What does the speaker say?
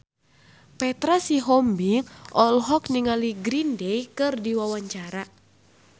Petra Sihombing olohok ningali Green Day keur diwawancara